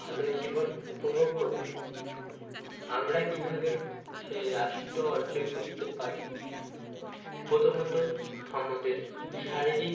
ভালো জীবন উপভোগ করবে আমরা কিভাবে সেই রাষ্ট্র অর্জন করতে পারি প্রথমত আমাদের শারীরিক